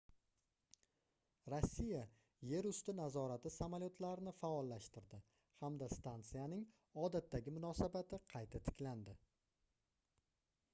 rossiya yer usti nazorati samolyotlarni faollashtirdi hamda stansiyaning odatdagi munosabati qayta tiklandi